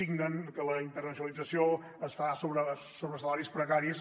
signen que la internacionalització es fa sobre salaris precaris